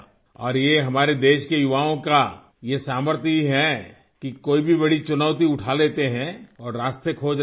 اور یہ ہمارے ملک کے نوجوانوں کی قوت ہی ہے جو کوئی بھی بڑی چنوتی اٹھا لیتے ہیں اور راستے تلاش رہے ہیں